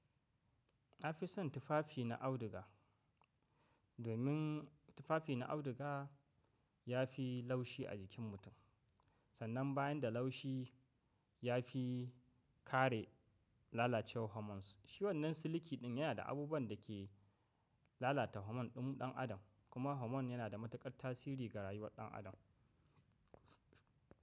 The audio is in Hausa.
Na fi son tufafi na auduga domin tufafi na auduga ya fi laushi a jikin mutum sannan bayan da laushi ya fi kare lalacewar hormones. Shi wannan siliki ɗin yana da abubuwan da ke lalata hormone ɗin ɗan adam kuma hormone yana da matuƙar tasiri ga rayuwar ɗan adam.